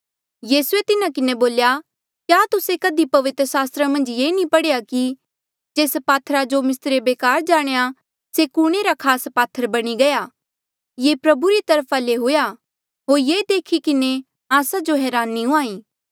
यीसूए तिन्हा किन्हें बोल्या क्या तुस्से कधी पवित्र सास्त्रा मन्झ ये नी पढ़ेया कि जेस पात्थरा जो मिस्त्रिये बेकार जाणेया से ई कुणे रा खास पात्थर बणी गया ये प्रभु री तरफा ले हुएआ होर ये देखी किन्हें आस्सा जो हरानी हूंहाँ ईं